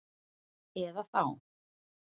Eða þá